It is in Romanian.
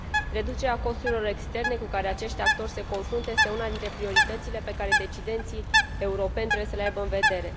Reducerea costurilor externe cu care acești actori se confruntă este una dintre prioritățile pe care decidenții europeni trebuie să le aibă în vedere.